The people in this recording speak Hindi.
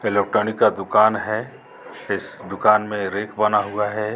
इलेक्ट्रॉनिक का दुकान है इस दुकान में रेक बना हुआ है।